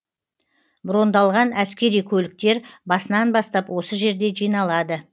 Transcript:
брондалған әскери көліктер басынан бастап осы жерде жиналады